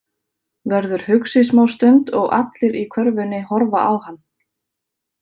Verður hugsi smá stund og allir í körfunni horfa á hann.